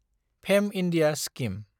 fame India scheme